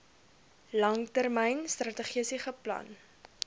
langtermyn strategiese plan